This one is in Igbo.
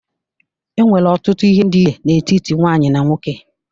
E nwere ọtụtụ ihe ndị́ iche n'etiti nwaanyị na nwoke.